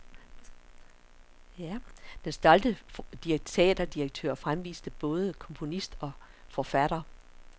Den stolte teaterdirektør fremviste både komponist og forfatter.